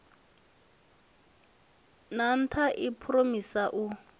ha nlsa i phuromotha u